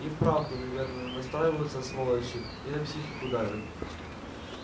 и вправду наверное настраиваются сволочи и на психику давят